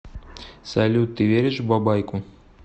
салют ты веришь в бабайку